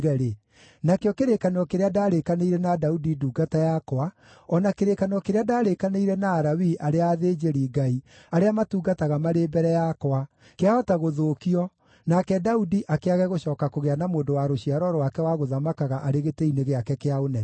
nakĩo kĩrĩkanĩro kĩrĩa ndaarĩkanĩire na Daudi ndungata yakwa, o na kĩrĩkanĩro kĩrĩa ndaarĩkanĩire na Alawii arĩa athĩnjĩri-Ngai arĩa matungataga marĩ mbere yakwa, kĩahota gũthũkio, nake Daudi akĩage gũcooka kũgĩa na mũndũ wa rũciaro rwake wa gũthamakaga arĩ gĩtĩ-inĩ gĩake kĩa ũnene.